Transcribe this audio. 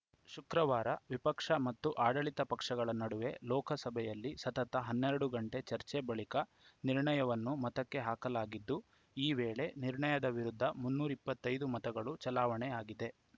ಶುಕ್ರವಾರ ವಿಪಕ್ಷ ಮತ್ತು ಆಡಳಿತ ಪಕ್ಷಗಳ ನಡುವೆ ಲೋಕಸಭೆಯಲ್ಲಿ ಸತತ ಹನ್ನೆರಡು ಗಂಟೆ ಚರ್ಚೆ ಬಳಿಕ ನಿರ್ಣಯವನ್ನು ಮತಕ್ಕೆ ಹಾಕಲಾಗಿದ್ದು ಈ ವೇಳೆ ನಿರ್ಣಯದ ವಿರುದ್ಧ ಮುನ್ನೂರ ಇಪ್ಪತ್ತೈದು ಮತಗಳು ಚಲಾವಣೆಯಾಗಿದೆ